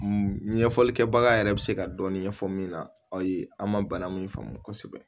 Ɲɛfɔlikɛbaga yɛrɛ bɛ se ka dɔɔnin ɲɛfɔ min na aw ye an ma bana min faamu kosɛbɛ